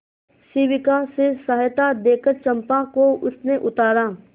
शिविका से सहायता देकर चंपा को उसने उतारा